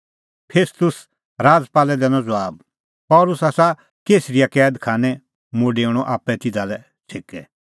फेस्तुस राजपालै दैनअ ज़बाब पल़सी आसा कैसरिया कैद खानै मुंह डेऊणअ आप्पै तिधा लै छ़ेकै